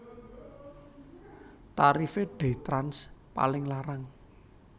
Tarife DayTrans paling larang